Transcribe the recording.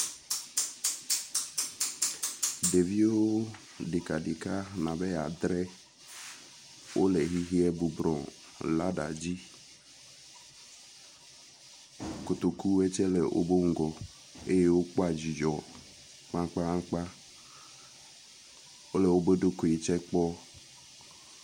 Ɖeviwo ɖekaɖeka nɔ be adre wo le xexea bublɔ lada dzi. K\otokuwo tse le wobe ŋgɔ ye wokpɔ dzidzɔ kpakpakpa. Wo le wobe ɖokui tse kpɔ.